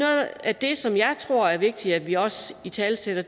af det som jeg tror er vigtigt at vi også italesætter